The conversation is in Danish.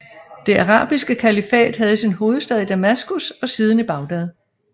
Det arabiske kalifat havde sin hovedstad i Damaskus og siden i Bagdad